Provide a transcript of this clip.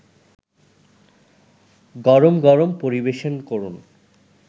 গরম গরম পরিবেশন করুন